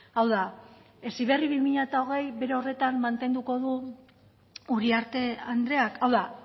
hau da heziberri bi mila hogei bere horretan mantenduko du uriarte andreak hau da